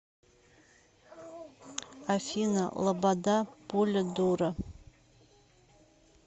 афина лобода пуля дура